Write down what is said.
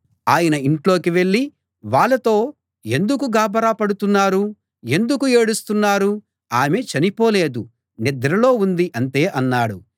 ఆయన ఇంట్లోకి వెళ్ళి వాళ్లతో ఎందుకు గాభరా పడుతున్నారు ఎందుకు ఏడుస్తున్నారు ఆమె చనిపోలేదు నిద్రలో ఉంది అంతే అన్నాడు